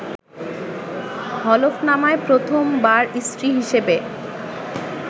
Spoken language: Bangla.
হলফনামায় প্রথম বার স্ত্রী হিসেবে